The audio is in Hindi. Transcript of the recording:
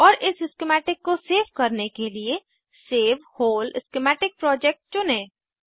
और इस स्किमैटिक को सेव करने के लिए सेव व्होल स्कीमेटिक प्रोजेक्ट चुनें